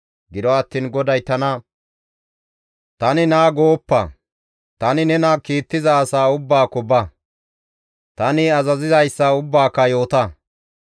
Gido attiin GODAY tana, « ‹Tani naa› gooppa. Tani nena kiittiza asa ubbaakko ba. Tani azaziyssa ubbaaka yoota.